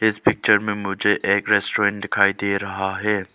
इस पिक्चर में मुझे एक रेस्टोरेंट दिखाई दे रहा है।